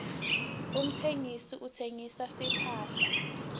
umtsengisi uhsengisa timphahla